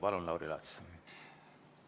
Palun, Lauri Laats!